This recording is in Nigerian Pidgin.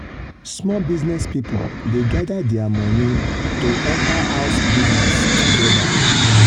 small business people dey gather their money to enter house business together.